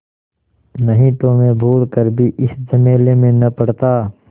नहीं तो मैं भूल कर भी इस झमेले में न पड़ता